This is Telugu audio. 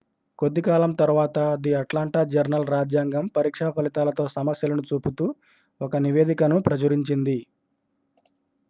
కొద్ది కాలం తరువాత ది అట్లాంటా జర్నల్-రాజ్యాంగం పరీక్షా ఫలితాలతో సమస్యలను చూపుతూ ఒక నివేదికను ప్రచురించింది